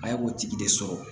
A ye k'o tigi de sɔrɔ